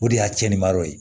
O de y'a cɛnni ma yɔrɔ ye